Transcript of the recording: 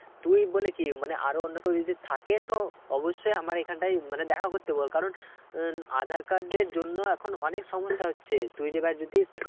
তুই বলে কি মানে আর ও অন্য কেউ যদি থাকে তো অবশ্যই আমার এখানটায় মানে দেখা করতে বল কারণ আহ আঁধার card এর জন্য এখন অনেক সমস্যা হচ্ছে তুই যে এবার